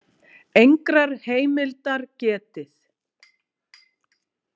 Engrar heimildar getið.